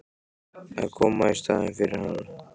Að koma í staðinn fyrir hann?